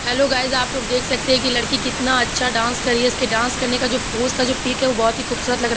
Hello guys आप लोग देख सकते है कि कितना अच्छा डांस कर रही है इसके डांस करने का जो पोज का जो पिक है वो बहोत ही खूबसुरत लग रहा है।